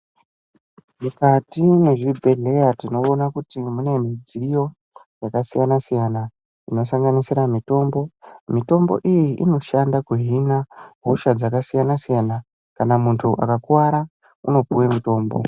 Mukati mezvibhedhlera tinoona kuti mune midziyo yakasiyana-siyana, inosanganisira mitombo. Mitombo iyi inoshanda kuhina hosha dzakasiyana-siyana. Kana muntu akakuwara unopuwe mutombo.